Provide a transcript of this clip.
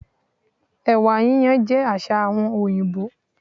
Èwà yíyan jé àsà àwon òyìbó